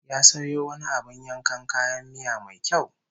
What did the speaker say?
Ya sayo wani abin yankan kayan miya mai kyau